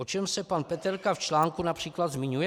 O čem se pan Peterka v článku například zmiňuje?